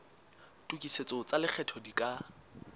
tokisetso tsa lekgetho di ka